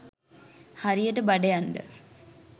හරියට බඩ යන්ඩ